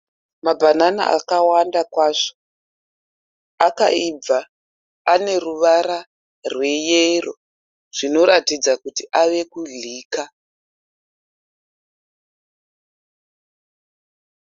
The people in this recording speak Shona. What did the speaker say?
Mabhanana akawanda kwazvo. Akaibva. Ane ruvara rweyero zvinoratidza kuti ave kudyika.